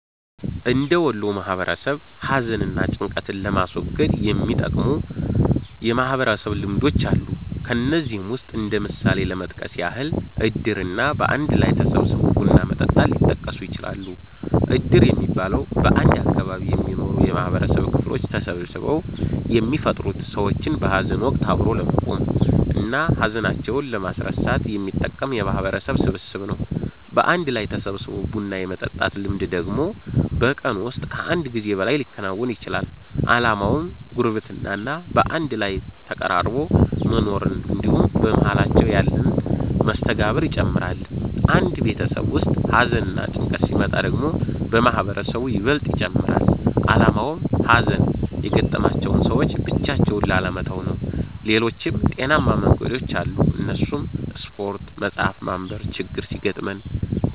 እንደ ወሎ ማህበረሰብ ሀዘን እና ጭንቀትን ለማስወገድ የሚጠቅሙ የማህበረሰብ ልምዶች አሉ። ከነዚህም ውስጥ እንደ ምሳሌ ለመጥቀስ ያህል እድር እና በአንድ ላይ ተሰባስቦ ቡና መጠጣት ሊጠቀሱ ይችላሉ። እድር የሚባለው፤ በአንድ አካባቢ የሚኖሩ የማህበረሰብ ክፍሎች ተሰባስበው የሚፈጥሩት ሰዎችን በሀዘን ወቀት አብሮ ለመቆም እና ሀዘናቸውን ለማስረሳት የሚጠቅም የማህበረሰብ ስብስብ ነው። በአንድ ላይ ተሰባስቦ ቡና የመጠጣት ልምድ ደግሞ በቀን ውስጥ ከአንድ ጊዜ በላይ ሊከወን ይችላል። አላማውም ጉርብትና እና በአንድ ላይ ተቀራርቦ መኖርን እንድሁም በመሃላቸው ያለን መስተጋብር ይጨምራል። አንድ ቤተሰብ ውስጥ ሀዘንና ጭንቀት ሲመጣ ደግሞ መሰባሰቡ ይበልጥ ይጨመራል አላማውም ሀዘን የገጠማቸውን ሰዎች ብቻቸውን ላለመተው ነው። ሌሎችም ጤናማ መንገዶች አሉ እነሱም ስፓርት፣ መፀሀፍ ማንብ፤ ችግር ሲገጥመን